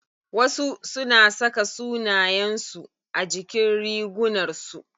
Wasu suna saka sunayen su a jikin rigunar su.